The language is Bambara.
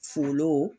Fulo